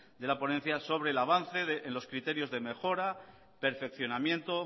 de la ponencia sobre el avance de los criterios de mejora perfeccionamiento